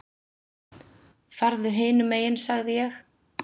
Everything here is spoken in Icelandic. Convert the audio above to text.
Farðu hinum megin sagði ég.